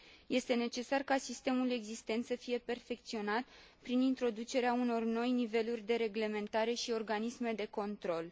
Este necesar ca sistemul existent să fie perfecționat prin introducerea unor noi niveluri de reglementare și organisme de control.